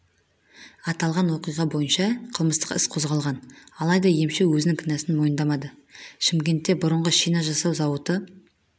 аталған оқиға бойынша қылмыстық іс қозғалған алайда емші өзінің кінәсін мойындамады шымкентте бұрынғы шина жасау зауыты